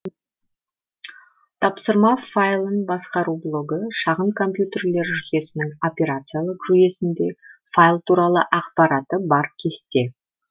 тапсырма файлын басқару блогы шағын компьютерлер жүйесінің операциялық жүйесінде файл туралы ақпараты бар кесте